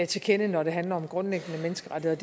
til kende når det handler om grundlæggende menneskerettigheder